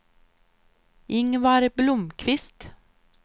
Ingvar Blomqvist